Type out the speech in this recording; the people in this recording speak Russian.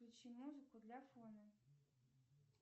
включи музыку для фона